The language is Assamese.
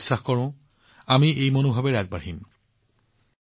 মই নিশ্চিত যে আমি একে স্পৃহাৰে আগবাঢ়িম